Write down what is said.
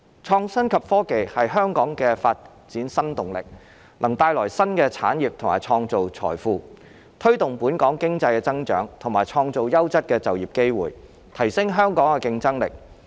創新及科技是香港的發展新動力，能帶來新的產業及創造財富，推動本港經濟增長和創造優質的就業機會，提升香港的競爭力。